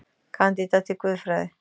Kandídat í guðfræði